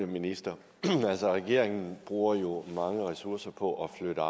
ministeren regeringen bruger jo mange ressourcer på at flytte